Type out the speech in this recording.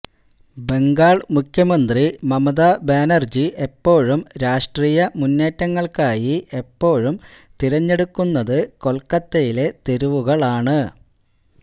ബംഗാൾ മുഖ്യമന്ത്രി മമത ബാനർജി എപ്പോഴും രാഷ്ട്രീയ മുന്നേറ്റങ്ങൾക്കായി എപ്പോഴും തിരഞ്ഞെടുക്കുന്നത് കൊൽക്കത്തയിലെ തെരുവുകളാണ്